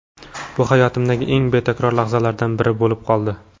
Bu hayotimdagi eng betakror lahzalardan biri bo‘lib qoldi.